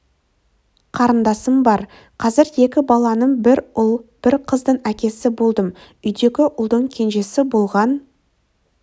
қарындасым бар қазір екі баланың бір ұл бір қыздың әкесі болдым үйдегі ұлдың кенжесі болған